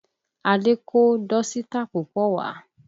Adé kó dọ́sítà púpọ̀ wá